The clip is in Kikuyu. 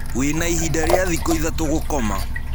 Wĩna ĩhĩda rĩa thĩkũ ĩthatũ gũkoma.